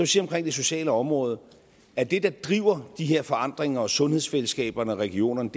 sige omkring det sociale område at det der driver de her forandringer og sundhedsfællesskaberne og regionerne